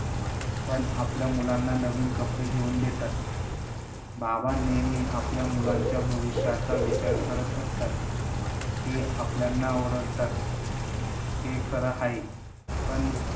पण आपल्या मुलांना नवीन कपडे घेऊन देतात. बाबा नेहमी आपल्या मुलांच्या भविष्याचा विचार करत असतात, ते आपल्याला ओरडतात ते खर हाये. पण